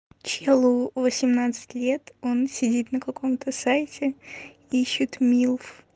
человеку восемнадцать лет он сидит на каком-то сайте ищёт милф